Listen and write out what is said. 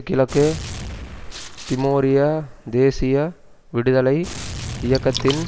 கிழக்கு திமோரிய தேசிய விடுதலை இயக்கத்தின்